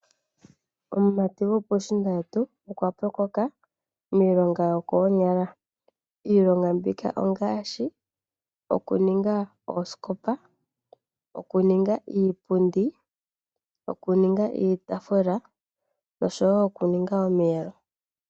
Omumati gopuushiinda wetu okwa pyokoka miilonga yokoonyala. Iilonga mbika ongaashi okuninga oosikopa, okuninga iipundi, okuninga iitaafula nosho wo okuninga omiyelo.